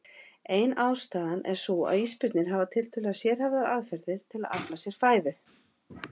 Ein ástæðan er sú að ísbirnir hafa tiltölulega sérhæfðar aðferðir til að afla sér fæðu.